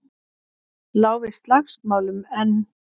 Lá við slagsmálum, en